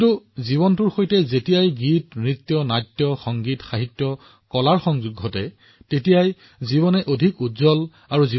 অৱশ্যে যেতিয়া ইয়াত গান সংগীত কলা নাটক আৰু নৃত্য সাহিত্য যোগ দিয়া হয় তেতিয়া ইয়াৰ আভা ইয়াৰ জীৱনীশক্তিত বহুগুণে বৃদ্ধি হয়